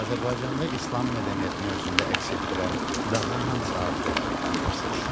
Azərbaycanda İslam mədəniyyətini özündə əks etdirən daha hansı abidələri tanıyırsınız?